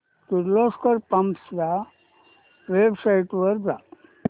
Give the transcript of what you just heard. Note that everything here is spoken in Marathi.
किर्लोस्कर पंप्स च्या वेबसाइट वर जा